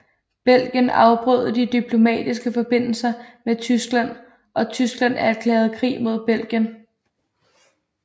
Belgien afbrød de diplomatiske forbindelser med Tyskland og Tyskland erklærede krig mod Belgien